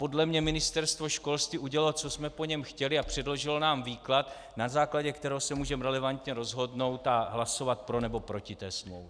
Podle mě Ministerstvo školství udělalo, co jsme po něm chtěli, a předložilo nám výklad, na základě kterého se můžeme relevantně rozhodnout a hlasovat pro nebo proti té smlouvě.